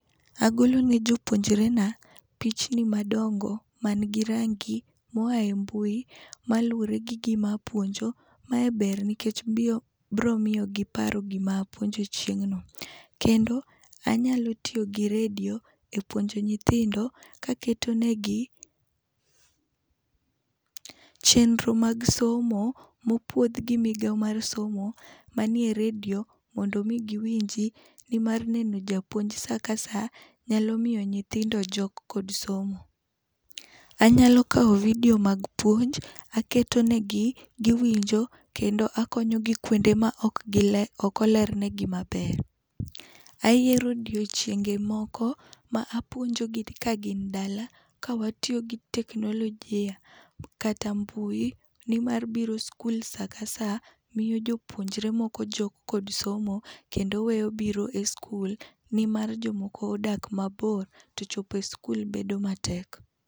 Agolo ne jopuonjre na pichni madongo ma ni gi rangi ma oya e mbui malure gi gi mapuonjo, mae ber nikech biro miyo gi paro gi ma puonjo chieng'no. Kendo anyalo tiyo gi redio ka aketo ne gi chenro mar somo mopuodh gi migao mar somo ma nie e redio mondo gi winji. Ni mar neno japuonj sa ka sa nyalo miyo nyithindo jok kod somo, anyalo kawo video mag puonj akete no gi gi winjo kendo akonyo gi kuonde ma ok oler ne gi maber. Ayiero odiechienge moko apuonjo gi ka gin dala ka wa tiyo gi teknoloji kata mbui ni mar biro skul sa ka sa miyo jopuonjre jok gi somo kendo weyo biro e skul nimar jo moko odak mabor to chopo skul bet matek.